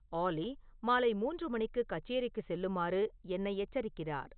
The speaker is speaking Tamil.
ஆல்லி மாலை மூன்று மணிக்கு கச்சேரிக்குச் செல்லுமாறு என்னை எச்சரிக்கிறார்